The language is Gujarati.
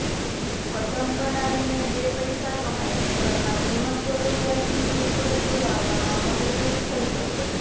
પતંગ બનાવીને બે પૈસા કમાઈને ઘરમાં જીવનજરૂરિયાતની ચીજવસ્તુ લાવવામાં મદદરૂપ થઈ શકે